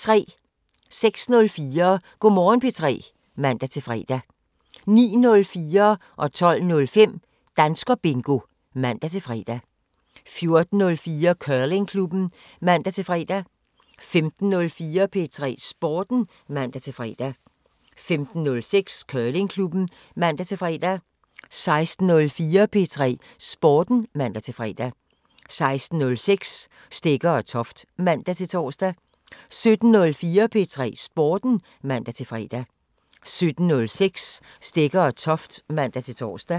06:04: Go' Morgen P3 (man-fre) 09:04: Danskerbingo (man-fre) 12:05: Danskerbingo (man-fre) 14:04: Curlingklubben (man-fre) 15:04: P3 Sporten (man-fre) 15:06: Curlingklubben (man-fre) 16:04: P3 Sporten (man-fre) 16:06: Stegger & Toft (man-tor) 17:04: P3 Sporten (man-fre) 17:06: Stegger & Toft (man-tor)